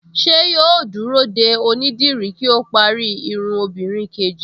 Ṣé yóò dúró de onídìrí kí ó parí irun obìnrin kejì